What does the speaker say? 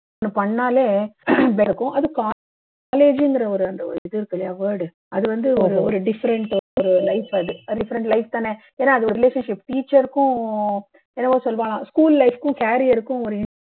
பண்ணாலே அது college ங்குற ஒரு அந்த ஒரு இது இருக்குல்லையா word அது வந்து ஒரு ஒரு different life அது அது different life தானே ஏன்னா அது ஒரு relationship teacher க்கும் என்னமோ சொல்லுவாளாம் school life க்கும் carrier க்கும்